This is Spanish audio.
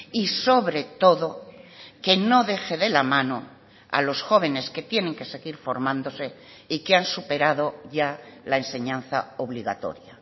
y sobre todo que no deje de la mano a los jóvenes que tienen que seguir formándose y que han superado ya la enseñanza obligatoria